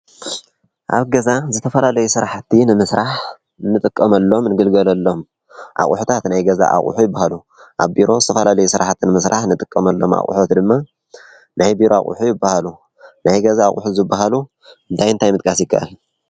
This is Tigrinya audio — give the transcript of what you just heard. ኣብ ገዛ ዝተፈላለዩ ሥራሕቲ ንምሥራሕ ንጥቀመሎም ንግልገለሎም ኣቝሑታት ናይ ገዛ ኣቝሑ ይበሃሉ፡፡ ኣብ ቢሮ ዝተፈላለዩ ስራሕቲ ንምስራሕ ንጥቀመሎም ኣቝሑት ድማ ናይ ቢሮ ኣቝሑ ይበሃሉ፡፡ ናይ ገዛ ኣቝሑ ዝበሃሉ እንታይ ምጥቃስ ይካኣል?